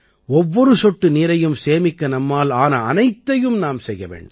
ஒவ்வொரு சொட்டு நீரையும் சேமிக்க நம்மால் ஆன அனைத்தையும் நாம் செய்ய வேண்டும்